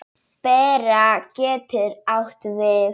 Bera getur átt við